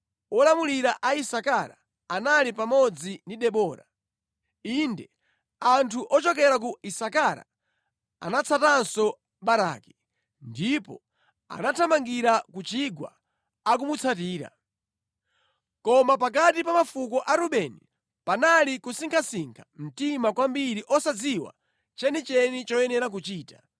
Olamulira a Isakara anali pamodzi ndi Debora; inde, anthu ochokera ku Isakara anatsatanso Baraki, ndipo anathamangira ku chigwa akumutsatira. Koma pakati pa mafuko a Rubeni panali kusinkhasinkha mtima kwambiri osadziwa chenicheni choyenera kuchita.